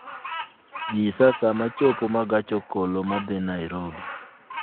nyisa saa ma chopo ma gach okoloma dhi nairobi